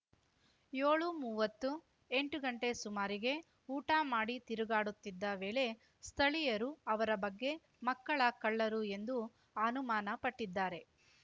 ಯೋಳುಮುವತ್ತುಎಂಟು ಗಂಟೆ ಸುಮಾರಿಗೆ ಊಟ ಮಾಡಿ ತಿರುಗಾಡುತ್ತಿದ್ದ ವೇಳೆ ಸ್ಥಳೀಯರು ಅವರ ಬಗ್ಗೆ ಮಕ್ಕಳ ಕಳ್ಳರು ಎಂದು ಅನುಮಾನಪಟ್ಟಿದ್ದಾರೆ